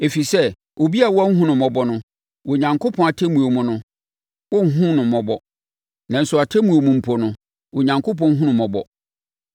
Ɛfiri sɛ, obi a wanhunu mmɔbɔ no, Onyankopɔn atemmuo mu no, wɔrenhunu no mmɔbɔ. Nanso atemmuo mu mpo no, Onyankopɔn hunu mmɔbɔ.